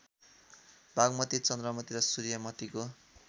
बागमती चन्द्रमती र सूर्यमतीको